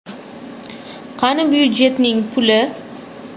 Qani budjetning puli?